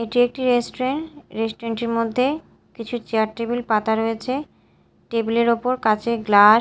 এটি একটি restaurant restaurant -এর মধ্যে কিছু চেয়ার টেবিল পাতা রয়েছে টেবিল -এর ওপর কাচের গ্লা--